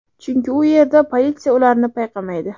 Chunki u yerda politsiya ularni payqamaydi.